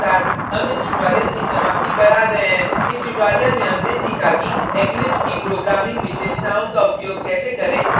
इसी के साथ हम इस tutorial की समाप्ति पर as गये हैं इस tutorial में हमने सीखा कि eclipse की programming विशेषताओं का उपयोग कैसे करें जैसे